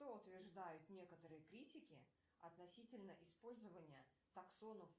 что утверждают некоторые критики относительно использования таксонов